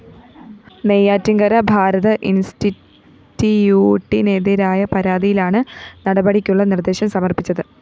നെയ്യാറ്റിന്‍കര ഭാരത് ഇന്‍സ്റ്റിറ്റിയൂട്ടിനെതിരായ പരാതിയിലാണ് നടപടിയ്ക്കുളള നിര്‍ദ്ദേശം സമര്‍പ്പിച്ചത്